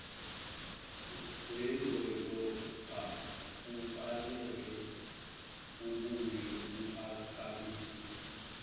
wedolobha kufaneleubuye uphakamise